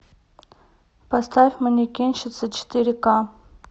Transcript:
поставь манекенщица четыре ка